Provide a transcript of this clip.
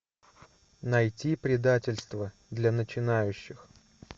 найти предательство для начинающих